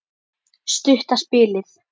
Stutta spilið.